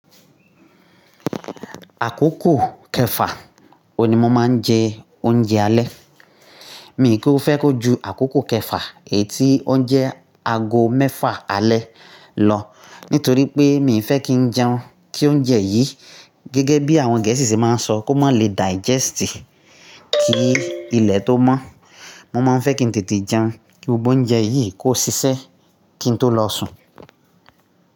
Àkókò kẹfà wo ni mo máa ń jẹ oúnjẹ alẹ́. Mi kò fẹ́ kó ju àkókò kẹfà è tí oúnjẹ ago mẹ́fà alẹ́ lọ, nítorí pé mi ò fẹ́ kí jẹun kí oúnjẹ yìí gẹ́gẹ́ bí àwọn gẹ̀ẹ́sì ṣe máa ń sọ kó má lè digest, kí ilẹ̀ tó mọ́. Mo máa ń fẹ́ kí n tètè jẹun kí gbogbo oúnjẹ yìí kó ṣiṣẹ́ kí n tó lọ sùn.